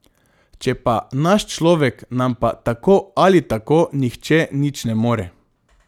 Če je pa naš človek, nam pa tako ali tako nihče nič ne more.